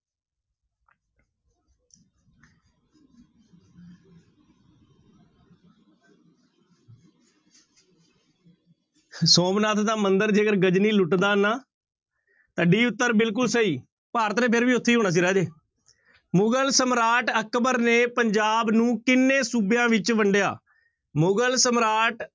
ਸੋਮਨਾਥ ਦਾ ਮੰਦਿਰ ਜੇਕਰ ਗਜਨੀ ਲੁੱਟਦਾ ਨਾ ਤਾਂ d ਉੱਤਰ ਬਿਲਕੁਲ ਸਹੀ, ਭਾਰਤ ਨੇ ਫਿਰ ਵੀ ਉੱਥੇ ਹੀ ਹੋਣਾ ਸੀ ਰਾਜੇ, ਮੁਗ਼ਲ ਸਮਰਾਟ ਅਕਬਰ ਨੇ ਪੰਜਾਬ ਨੂੰ ਕਿੰਨੇ ਸੂਬਿਆਂ ਵਿੱਚ ਵੰਡਿਆ? ਮੁਗਲ ਸਮਰਾਟ